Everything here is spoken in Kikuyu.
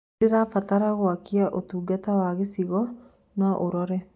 nĩndĩrabatara gwakĩaũtũngata wa gĩchĩgo noũrore